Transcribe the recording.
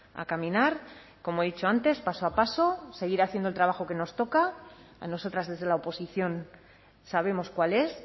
a caminar como he dicho antes paso a paso seguir haciendo el trabajo que nos toca a nosotras desde la oposición sabemos cuál es